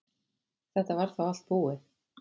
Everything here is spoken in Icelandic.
Þetta var þá allt búið.